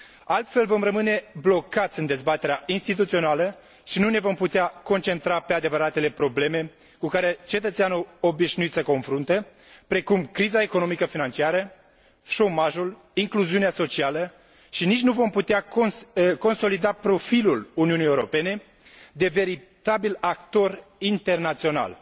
Altfel vom rămâne blocați în dezbaterea instituțională și nu ne vom putea concentra pe adevăratele probleme cu care cetățeanul obișnuit se confruntă, precum criza economico financiară, șomajul, incluziunea socială și nici nu vom putea consolida profilul Uniunii Europene de veritabil actor internațional.